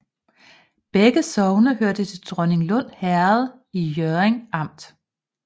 Begge sogne hørte til Dronninglund Herred i Hjørring Amt